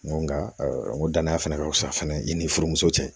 N ko nga n ko danaya fana ka wusa fɛnɛ i ni furumuso cɛ